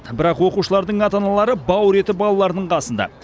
бірақ оқушылардың ата аналары бауыр еті балаларының қасында